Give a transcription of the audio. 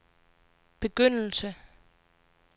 begyndelse